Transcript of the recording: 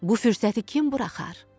Bu fürsəti kim buraxar?